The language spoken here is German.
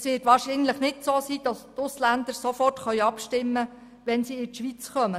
Es wäre wahrscheinlich nicht so, dass die Ausländer sofort abstimmen können, wenn sie in die Schweiz kommen.